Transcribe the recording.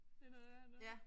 Det noget værre noget